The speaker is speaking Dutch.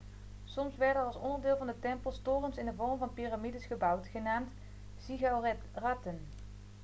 soms werden er als onderdeel van de tempels torens in de vorm van piramides gebouwd genaamd ziggoeratten